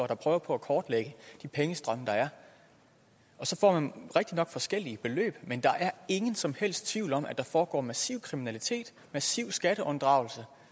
der prøver på at kortlægge de pengestrømme der er så får man rigtignok forskellige beløb men der er ingen som helst tvivl om at der foregår massiv kriminalitet massiv skatteunddragelse